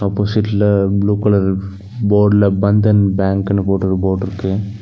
ஆப்போசிட்ல blue colour போர்டுல பந்தன் பேங்க்குனு போட்டு ஒரு போர்டுருக்கு .